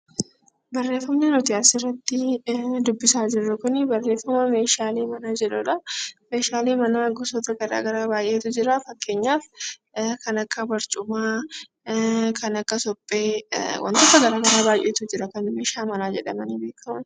Barreeffamni nuti asii olitti dubbisaa jirru kun barreeffama meeshaalee manaa jedhudha. Meeshaalee manaa gosoota garaagaraa baay'eetu jira. Fakkeenyaaf kan akka barcumaa, kan akka suphee, wantoota garaagaraa baay'eetu jira kan manaa jedhamanii kan beekaman.